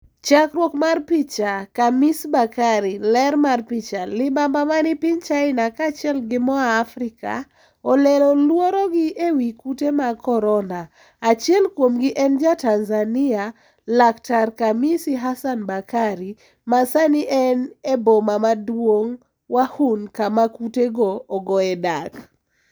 Chakruok mar picha, KHAMIS BAKARI, ler mar picha, libamba mani piny China ka achiel gi moa Afrika olero luoro gi ewi kute mag korona, achiel kuomgi en ja Tanzania, laktar Khamisi Hassan Bakari, ma sani en eboma maduong' Wuhan kama kute go ogoe dak.